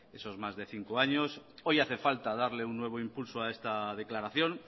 esos más de cinco años hoy hace falta darle un nuevo impulso a esta declaración